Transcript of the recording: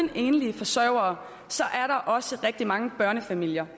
enlige forsørgere er der også rigtig mange børnefamilier